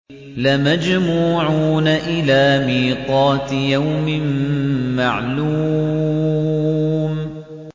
لَمَجْمُوعُونَ إِلَىٰ مِيقَاتِ يَوْمٍ مَّعْلُومٍ